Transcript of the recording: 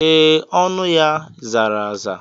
Ee, ọnụ ya zara aza.